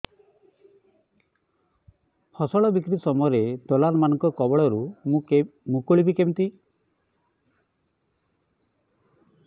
ଫସଲ ବିକ୍ରୀ ସମୟରେ ଦଲାଲ୍ ମାନଙ୍କ କବଳରୁ ମୁଁ ମୁକୁଳିଵି କେମିତି